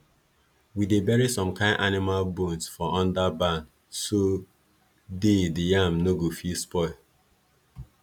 we dey bury some kin animal bones for under barn so day di yam no go fit spoil